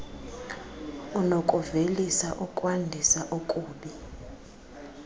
unokuvelisa okwandisa okubi